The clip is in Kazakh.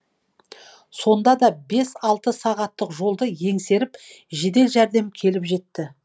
сонда да бес алты сағаттық жолды еңсеріп жедел жәрдем келіп жетті